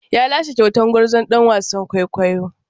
Ya lashe kyautar gwarzon ɗan wasan kwaikwayo.